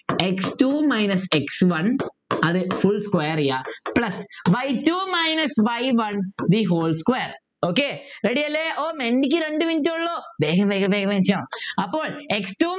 x two minus x one അത് full square ചെയ്യാ plus y two minus y one the whole square okay ready അല്ലെ ഓഹ് ക്കു രണ്ടു minute എ ഉള്ളു വേഗം വേഗം വേഗം വേഗം ചെയ്യാ അപ്പോൾ x two